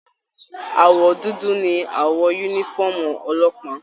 Àwọ dúdú ní awọ yúnífọ̀ọ́mù ọlọ́pàá.